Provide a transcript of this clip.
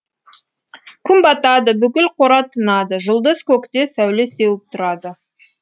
күн батады бүкіл қора тынады жұлдыз көкте сәуле сеуіп тұрады